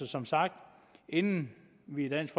som sagt inden vi i dansk